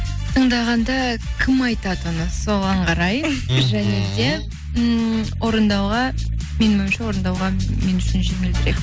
тыңдағанда кім айтатыны оны соған қарай мхм және де ммм орындауға менің ойымша орындауға мен үшін жеңілдірек